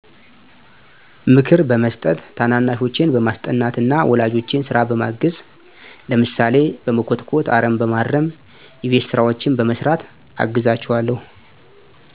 ምክር በመስጠት፣ ታናናሾቸን በማስጠናት፣ ወላጆቼን ስራ በማገዝ፣ ለምሳሌ፦ በመኮትኮት፣ አረም በማረም፣ የቤት ስራዎችን በመስራት አግዛቸዋለሁ